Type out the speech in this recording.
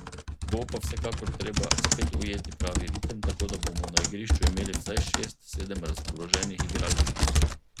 Bo pa vsekakor treba spet ujeti pravi ritem, tako da bomo na igrišču imeli vsaj šest, sedem razpoloženih igralcev.